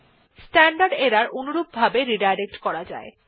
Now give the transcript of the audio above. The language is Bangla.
স্ট্যান্ডার্ড এরর অনুরূপভাবে রিডাইরেক্ট করা যায়